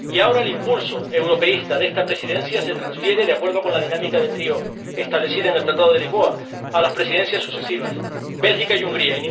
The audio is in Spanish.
Y, ahora, el impulso europeísta de esta Presidencia se transfiere, de acuerdo con la dinámica de trío establecida en el Tratado de Lisboa, a las Presidencias sucesivas Bélgica y Hungría.